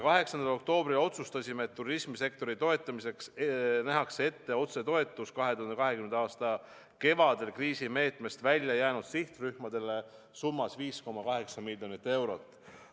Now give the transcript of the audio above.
8. oktoobril otsustasime, et turismisektori toetamiseks nähakse ette otsetoetus 2020. aasta kevadel kriisimeetmest välja jäänud sihtrühmadele 5,8 miljoni euro ulatuses.